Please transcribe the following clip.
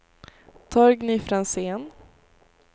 Torgny Franzén